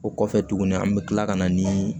O kɔfɛ tuguni an bɛ tila ka na nii